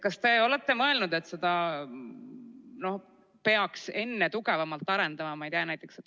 Kas te olete mõelnud, et seda peaks enne tugevamalt arendama?